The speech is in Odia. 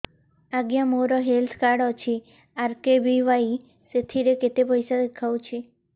ଆଜ୍ଞା ମୋର ହେଲ୍ଥ କାର୍ଡ ଅଛି ଆର୍.କେ.ବି.ୱାଇ ସେଥିରେ କେତେ ପଇସା ଦେଖଉଛି